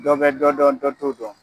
Dɔ bɛ dɔ dɔn dɔ t'o dɔn.